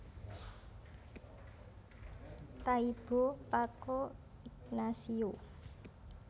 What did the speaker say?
Taibo Paco Ignacio